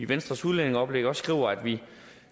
venstres udlændingeoplæg også skriver at vi